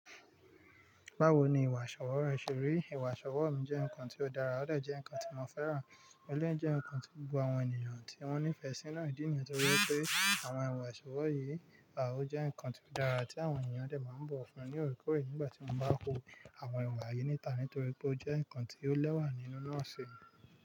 Báwo ni ìwà ìṣọwọ́ rẹ ṣe rí? Ìwà ṣọwọ́ mi jẹ́ nǹkan tí ó dára, ó de jẹ́ nǹkan tí mo fẹ́ràn, eleyi jẹ́ nǹkan tí gbogbo àwọn ènìyàn tí wọ́n nífẹ̀ẹ́ sí náà ń díni, nítorí pé àwọn ìwà ìṣọwọ́ yìí o jẹ́ nǹkan tí ó dára tí àwọn ènìyàn drè máa bọ̀ wo fún ní òkèèrè. Nígbà tí mo bá ko àwọ oko ni yìí ní ìta, nítorí pé ó jẹ́ nǹkan tí ó lẹ́wà nínú lọ́wọ́ mi.